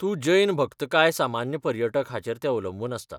तूं जैन भक्त काय सामान्य पर्यटक हाचेर तें अवलंबून आसता.